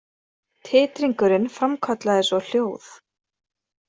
Titringurinn framkallaði svo hljóð.